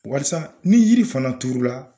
Walisa ni yiri fana turula.